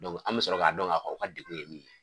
an mi sɔrɔ k'a dɔn ka fɔ k'u ka degun ye min ye